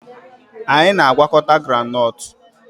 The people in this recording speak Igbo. Anyị na-agwakọta groundnut